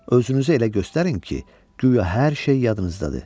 Özünüzü elə göstərin ki, guya hər şey yadınızdadır.